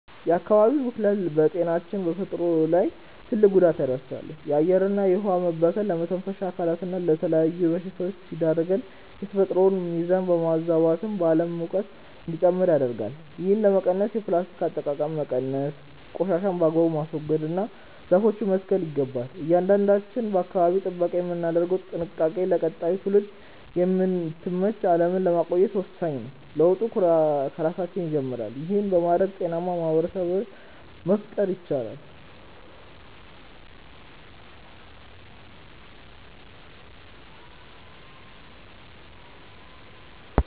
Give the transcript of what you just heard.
የአካባቢ ብክለት በጤናችንና በተፈጥሮ ላይ ትልቅ ጉዳት ያደርሳል። የአየርና የውኃ መበከል ለመተንፈሻ አካላትና ለተለያዩ በሽታዎች ሲዳርገን፣ የተፈጥሮን ሚዛን በማዛባትም የዓለም ሙቀት እንዲጨምር ያደርጋል። ይህንን ለመቀነስ የፕላስቲክ አጠቃቀምን መቀነስ፣ ቆሻሻን በአግባቡ ማስወገድና ዛፎችን መትከል ይገባል። እያንዳንዳችን ለአካባቢ ጥበቃ የምናደርገው ጥንቃቄ ለቀጣዩ ትውልድ የምትመች ዓለምን ለማቆየት ወሳኝ ነው። ለውጡ ከራሳችን ይጀምራል። ይህን በማድረግ ጤናማ ማኅበረሰብ መፍጠር ይቻላል።